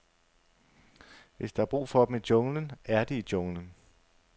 Hvis der er brug for dem i junglen, er de i junglen.